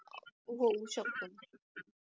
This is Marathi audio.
होऊ शकतो